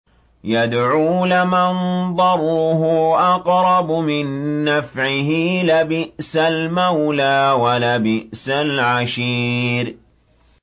يَدْعُو لَمَن ضَرُّهُ أَقْرَبُ مِن نَّفْعِهِ ۚ لَبِئْسَ الْمَوْلَىٰ وَلَبِئْسَ الْعَشِيرُ